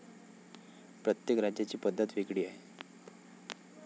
प्रत्येक राज्याची पद्धत वेगळी आहे.